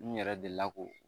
N yɛrɛ delila k'o